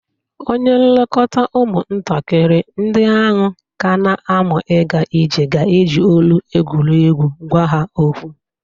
Onye nleta ụmụntakịrị ndï ahụ ka na- amụ ịga ije ga-eji olu egwuregwu gwa ha okwu.